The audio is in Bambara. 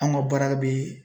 An ka baara bɛ